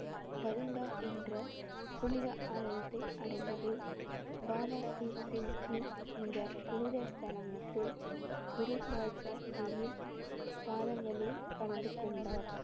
என்ற புனித ஆலயத்தை அடைந்தது. பாபா தீப் சிங் ஜி இந்த புனித ஸ்தலத்தில் குரு பாட்ஷா ஜியின் பாதங்களில் கலந்து கொண்டார்